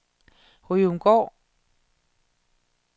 Ryomgård